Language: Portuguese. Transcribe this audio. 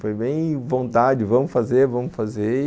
Foi bem vontade, vamos fazer, vamos fazer.